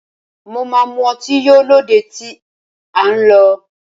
Mo máa mu ọtí yó lóde tí à ń lọ